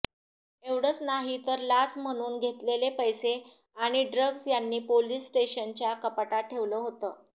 एवढच नाही तर लाच म्हणून घेतलेले पैसे आणि ड्रग्ज् त्यांनी पोलीस स्टेशनच्याच कपाटात ठेवलं होतं